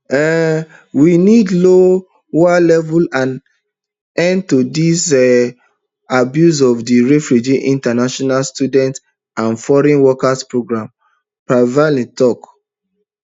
um we need lower levels and end to di um abuse of di refugee international student and foreign worker programs poilievre tok